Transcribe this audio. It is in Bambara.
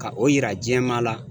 Ka o yira jɛman la